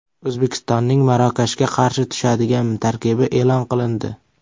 O‘zbekistonning Marokashga qarshi tushadigan tarkibi e’lon qilindi.